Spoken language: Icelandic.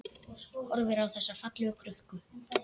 Horfir á þessa fallegu krukku.